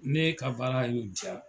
Ne ka baara in n ye diya.